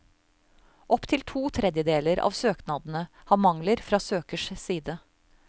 Opp til to tredjedeler av søknadene har mangler fra søkers side.